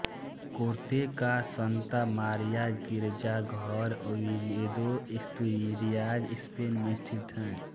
Corte का Santa Maria गिरजाघर Oviedo Asturias Spain में स्थित है